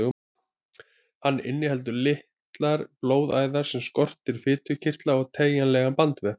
Hann inniheldur litlar blóðæðar en skortir fitukirtla og teygjanlegan bandvef.